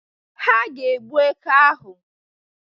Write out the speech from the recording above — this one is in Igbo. Ha ga-egbu eke ahụ